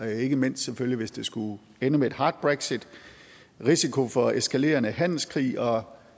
ikke mindst hvis det skulle ende med et hard brexit risikoen for eskalerende handelskrig og